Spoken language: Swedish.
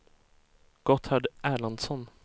Gotthard Erlandsson